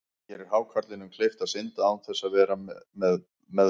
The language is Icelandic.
Það gerir hákarlinum kleift að synda án þess að vera við meðvitund.